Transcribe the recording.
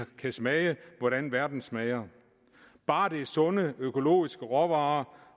kan smage hvordan verden smager bare det er sunde og økologiske råvarer